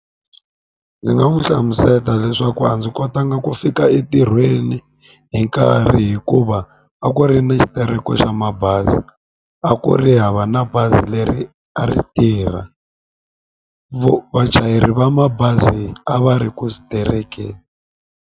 Ndzi nga n'wi hlamuseta leswaku a ndzi kotanga ku fika entirhweni hi nkarhi hikuva a ku ri ni xitereko xa mabazi a ku ri hava na bazi leri a ri tirha vachayeri va mabazi a va ri ku .